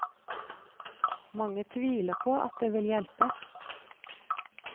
Mange tviler på at det vil hjelpe.